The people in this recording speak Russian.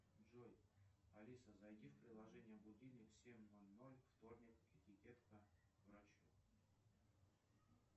джой алиса зайди в приложение будильник семь ноль ноль вторник этикетка врач